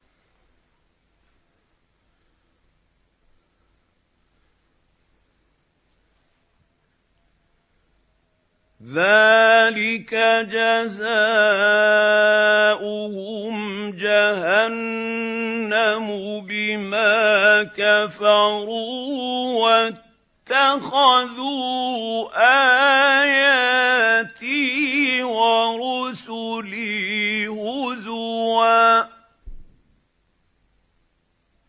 ذَٰلِكَ جَزَاؤُهُمْ جَهَنَّمُ بِمَا كَفَرُوا وَاتَّخَذُوا آيَاتِي وَرُسُلِي هُزُوًا